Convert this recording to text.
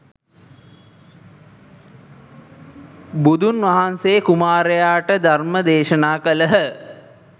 බුදුන් වහන්සේ කුමාරයාට ධර්ම දේශනා කළහ